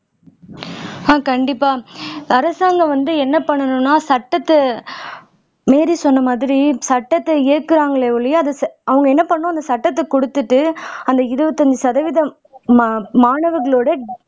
அஹ் கண்டிப்பா அரசாங்கம் வந்து என்ன பண்ணனும்னா சட்டத்தை மீறி சொன்னமாதிரி சட்டத்தை இயக்குராங்களே ஒழிய அதை அவங்க என்ன பண்ணனும் அந்த சட்டத்தை குடுத்துட்டு அந்த இருபத்தைந்து சதவீதம் மா மாணவர்களோட